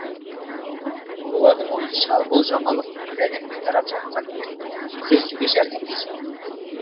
олардың ойынша бұл жаңалық бүкіл әлемге тарап жатқан дертпен күресуге жәрдемдесуі мүмкін